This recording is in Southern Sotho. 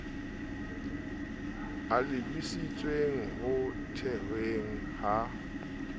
a lebisitseng ho thehweng ha